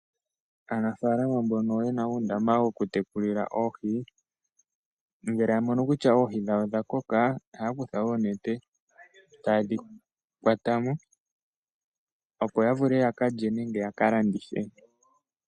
Aanafalama mbono yena uundama woku tekulila oohi , ngele ya mono kutya oohi dhawo odha koka ohaya kutha onete ,taye dhi kwatamo opo yavule yakalye nenge ya kalandithe.